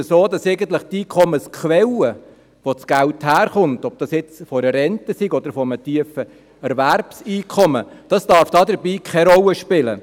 Die Einkommensquelle, sei es eine Rente, sei es ein tiefes Erwerbseinkommen, darf dabei keine Rolle spielen.